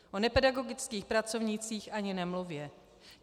O nepedagogických pracovnících ani nemluvě.